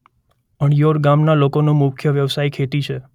અણિયોડ ગામના લોકોનો મુખ્ય વ્યવસાય ખેતી છે.